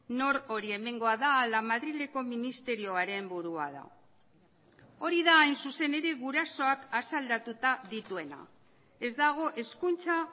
nork hori hemengoa da ala madrileko ministerioaren burua da hori da hain zuzen ere gurasoak asaldatuta dituena ez dago hezkuntza